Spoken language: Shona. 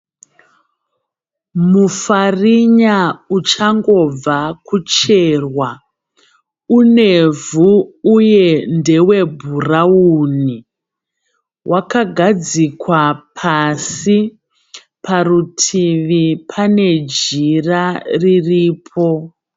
Mufarinya uchangobva kucherwa. Unevhu uye ndewebhurawuni. Wakagadzikwa pasi. Parutivi pane jira riripo.